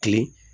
Kilen